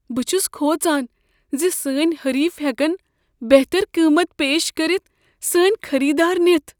بہٕ چھُس كھوژان زِ سٲنۍ حریف ہٮ۪كن بہتر قیمت پیش كرِتھ سٲنۍ خٔریدار نِتھ۔